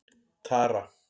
Tara